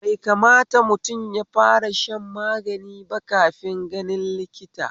Bai kamata mutum yafara shan magani ba kafin ganin likita